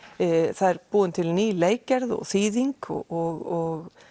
það er búin til ný leikgerð og ný þýðing og